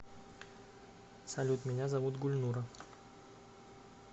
салют меня зовут гульнура